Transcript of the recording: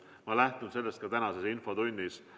Ma lähtun sellest ka tänases infotunnis.